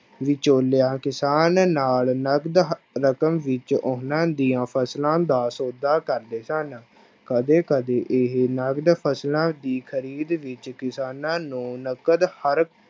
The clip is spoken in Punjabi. ਵਿਚੋਲਿਆਂ ਕਿਸਾਨ ਨਾਲ ਨਕਦ ਰਕਮ ਵਿੱਚ ਉਹਨਾਂ ਦੀਆਂ ਫਸਲਾਂ ਦਾ ਸੌਦਾ ਕਰਦੇ ਸਨ, ਕਦੇ ਕਦੇ ਇਹ ਨਕਦ ਫਸਲਾਂ ਦੀ ਖ਼ਰੀਦ ਵਿੱਚ ਕਿਸਾਨਾਂ ਨੂੰ ਨਕਦ ਹਰ